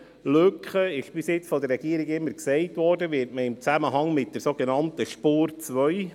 Bisher wurde von der Regierung immer wieder im Zusammenhang mit dieser Lücke auf die sogenannte «Spur 2» verwiesen.